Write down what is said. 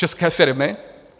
České firmy?